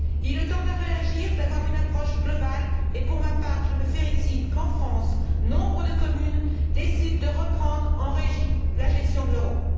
Il est temps de réagir, d'avoir une approche globale, et pour ma part, je me félicite qu'en France, nombre de communes décident de reprendre en régie la gestion de leur eau.